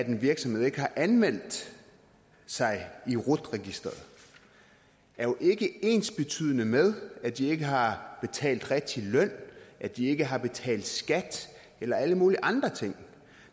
en virksomhed ikke har anmeldt sig i rut registeret jo ikke ensbetydende med at de ikke har betalt den rigtige løn at de ikke har betalt skat eller alle mulige andre ting